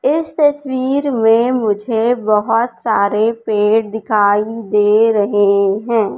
इस तस्वीर में मुझे बहोत सारे पेड़ दिखाई दे रहे हैं।